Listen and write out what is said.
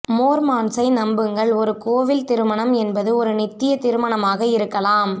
மோர்மான்ஸை நம்புங்கள் ஒரு கோயில் திருமணம் என்பது ஒரு நித்திய திருமணமாக இருக்கலாம்